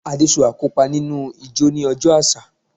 Adesua yoo kopa ninu ijó ni ọjọ aṣa